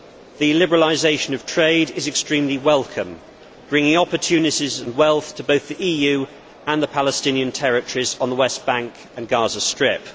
The liberalisation of trade is extremely welcome, bringing opportunities and wealth to both the EU and the Palestinian territories on the West Bank and Gaza Strip.